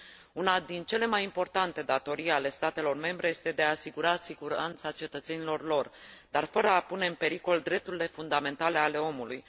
Una din cele mai importante datorii ale statelor membre este de a asigura siguranța cetățenilor lor, dar fără a pune în pericol drepturile fundamentale ale omului.